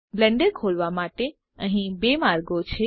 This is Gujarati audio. બ્લેન્ડર ખોલવા માટે અહી બે માર્ગો છે